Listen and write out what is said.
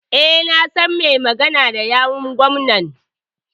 E, na san mai magana da yawun gwamnan.